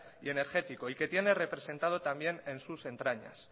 y energético y que tienen representado también en sus entrañas